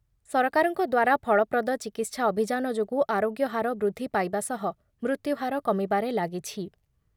ସରକାରଙ୍କ ଦ୍ଵାରା ଫଳପ୍ରଦ ଚିକିତ୍ସା ଅଭିଯାନ ଯାନ ଯୋଗୁଁ ଆରୋଗ୍ୟ ହାର ବୃଦ୍ଧି ପାଇବା ସହ ମୃତ୍ୟୁହାର କମିବାରେ ଲାଗିଛି ।